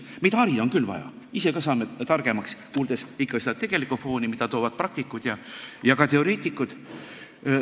Meid harida on küll vaja, me saame targemaks, kuuldes seda, milline on tegelik foon, millest räägivad praktikud ja ka teoreetikud.